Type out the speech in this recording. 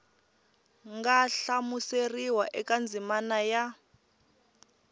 nga hlamuseriwa eka ndzimana ya